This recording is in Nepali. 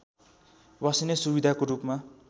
बस्ने सुविधाको रूपमा